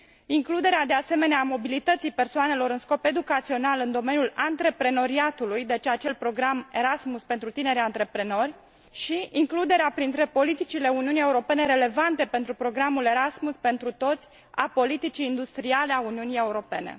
includerea, de asemenea, a mobilității persoanelor în scop educațional în domeniul antreprenoriatului, deci acel program Erasmus pentru tineri antreprenori, și includerea printre politicile Uniunii Europene relevante pentru programul Erasmus pentru toți, a politicii industriale a Uniunii Europene.